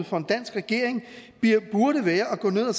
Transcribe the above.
for en dansk regering burde være at gå ned og